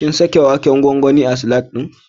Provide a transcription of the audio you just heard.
Kin saka waken gwangwanin a salad ɗin?